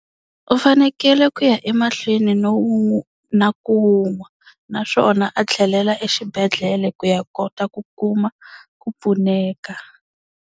U fanekele ku ya emahlweni no wu na ku wu nwa, naswona a tlhelela exibedhlele ku ya kota ku kuma ku pfuneka.